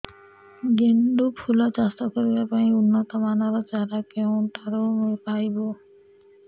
ଗେଣ୍ଡୁ ଫୁଲ ଚାଷ କରିବା ପାଇଁ ଉନ୍ନତ ମାନର ଚାରା କେଉଁଠାରୁ ପାଇବୁ